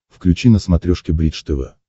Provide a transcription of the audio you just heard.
включи на смотрешке бридж тв